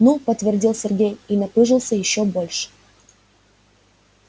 ну подтвердил сергей и напыжился ещё больше